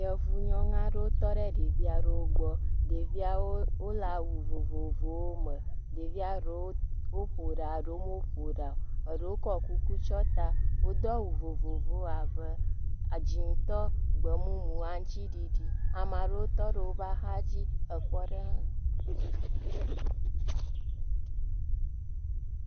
Yevunyɔnu aɖewo tɔ ɖe ɖevi aɖewo gbɔ, ɖeviawo le awu vovovowo me ɖevia ɖewo ƒo ɖa ɖewo meƒo ɖa o, eɖewo kɔ kuku tsɔ ta wodo awu vovovowo abe dzɛ̃tɔ, gbemumu, aŋutiɖiɖi, ame aɖewo tɔ ɖe woƒe axa dzi ekpɔ ɖem wo.